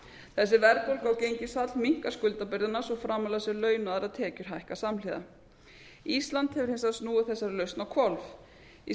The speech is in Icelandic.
þessi verðbólga og gengisfall minnkar skuldabyrðina svo framarlega sem laun og aðrar tekjur hækka samhliða ísland hefur hins vegar snúið þessari lausn á hvolf í